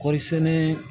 Kɔɔri sɛnɛ